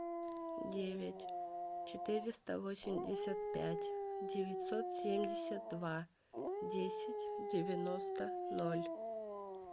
девять четыреста восемьдесят пять девятьсот семьдесят два десять девяносто ноль